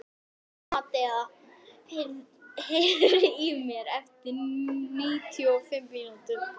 Amadea, heyrðu í mér eftir níutíu og fimm mínútur.